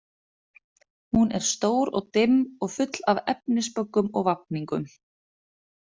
Hún er stór og dimm og full af efnisböggum og vafningum.